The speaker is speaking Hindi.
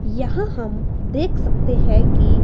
यहां हम देख सकते हैं कि--